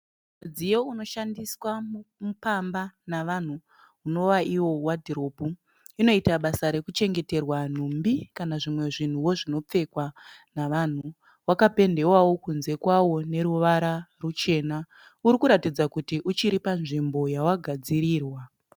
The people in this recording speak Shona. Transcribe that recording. Mudziyo unoshandiswa pamba navanhu unovaiwo wadhiropu. Inoita basa rekuchengeterwa nhumbi kana zvimwe zvinhuwo zvinopfekwa navanhu. Wakapendewawo kunze kwawo neruvara ruchena. Uri kuratidza kuti uchiri panzvimbo yawagadzirirwa.